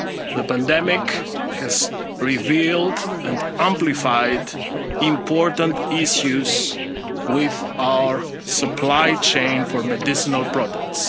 long term. The pandemic has revealed and amplified important issues with our supply chain for medicinal